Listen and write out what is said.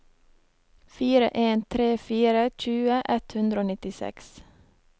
fire en tre fire tjue ett hundre og nittiseks